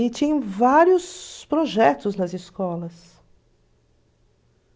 E tinham vários projetos nas escolas.